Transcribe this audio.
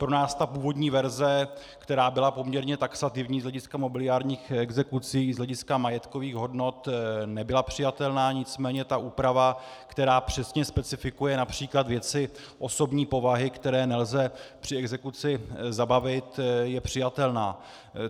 Pro nás ta původní verze, která byla poměrně taxativní z hlediska mobiliárních exekucí, z hlediska majetkových hodnot, nebyla přijatelná, nicméně ta úprava, která přesně specifikuje například věci osobní povahy, které nelze při exekuci zabavit, je přijatelná.